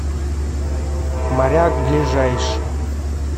моряк ближайший